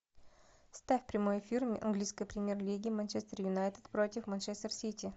ставь прямой эфир английской премьер лиги манчестер юнайтед против манчестер сити